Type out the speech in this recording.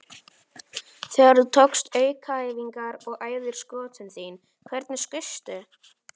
Þegar þú tókst aukaæfingar og æfðir skotin þín, hvernig skaustu?